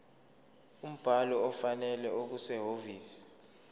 umbhalo ofanele okusehhovisi